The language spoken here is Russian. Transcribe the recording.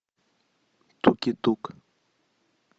туки тук